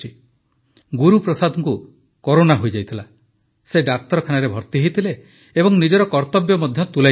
ଗୁରୁପ୍ରସାଦଙ୍କୁ corona ହୋଇଯାଇଥିଲା ସେ ଡାକ୍ତରଖାନାରେ ଭର୍ତ୍ତି ହୋଇଥିଲେ ଏବଂ ନିଜର କର୍ତ୍ତବ୍ୟ ମଧ୍ୟ ତୁଲାଇ ଚାଲିଥିଲେ